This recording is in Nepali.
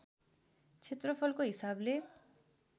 क्षेत्रफलको हिसाबले